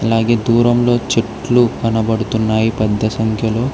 అలాగే దూరంలో చెట్లు కనబడుతున్నాయి పెద్ద సంఖ్యలో